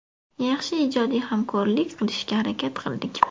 Yaxshi ijodiy hamkorlik qilishga harakat qildik.